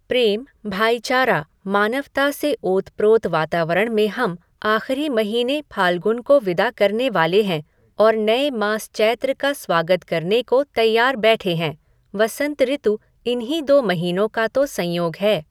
प्रेम, भाईचारा, मानवता से ओत प्रोत वातावरण में हम आखिरी महीने फाल्गुन को विदा करने वाले हैं और नए मास चैत्र का स्वागत करने को तैयार बैठे हैं, वसंत ऋतु इन्हीं दो महीनों का तो संयोग है।